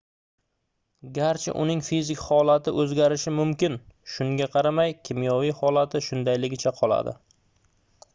garchi uning fizik holati oʻzgarishi mumkin shunga qaramay kimyoviy holati shundayligicha qoladi